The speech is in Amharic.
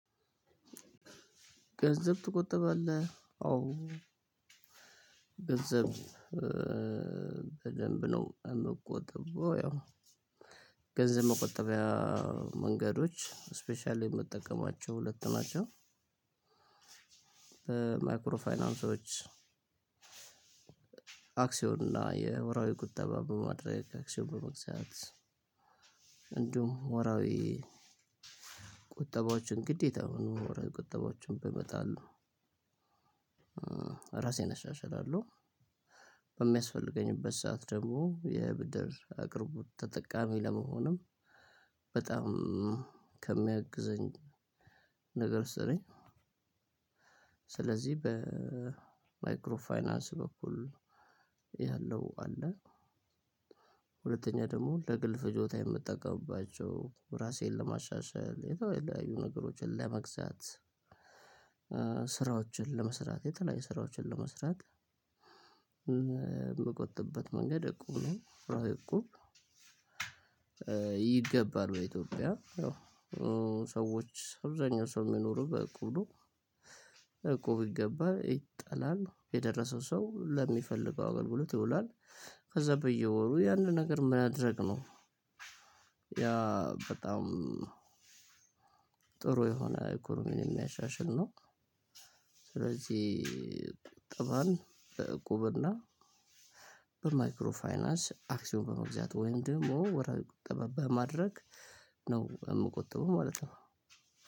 ገንዘብ ትቆጠባለህ? አዎ፣ ገንዘብ በደንብ ነው የምቆጥበው። ያው ገንዘብ መቆጠቢያ መንገዶች ስፔሻሊ የምጠቀማቸው ሁለት ናቸው። ማይክሮ ፋይናንሶች፣ አክሲዮን እና የወራዊ ቁጠባ በማድረግ አክሲዮን በመግዛት እንዲሁም ወራዊ ቁጠባዎችን ግዴታ ወራዊ ቁጠባዎችን በመጣል ነው። ራሴን አሻሽላለሁ በሚያስፈልግበት ሰዓት ደግሞ የብድር አቅርቦት ተጠቃሚ ለመሆንም በጣም ከሚያግዘኝ ነገር ውስጥ ስለዚህ በማይክሮ ፋይናንስ በኩል ያለው አለ ሁለተኛ ደግሞ ለግል ፍጆታ የምጠቀምባቸው ራሴን ለማሻሻል የተለያዩ ነገሮችን ለመግዛት ስራዎችን ለመስራት የተለያዩ ስራዎችን ለመስራት ምቆጥብበት መንገድ እቁብ እቁብ ይገባል በኢትዮጵያ ሰዎች አብዛኛው ሰው የሚኖሩት በእቁብ ነው እቁብ ይገባል ይጣላል የደረሰው ሰው ለሚፈልገው አገልግሎት ይውላል ከዛ በየወሩ ያንን ነገር ማድረግ ነው ያ በጣም ጥሩ የሆነ ኢኮኖሚ የሚያሻሽል ነው ስለዚህ ከባንክ ከእቁብና በማይክሮ ፋይናንስ አክሲዮን በመግዛት ወይም ደግሞ ወራዊ ቁጠባ በማድረግ ነው የምቆጥበው ማለት ነው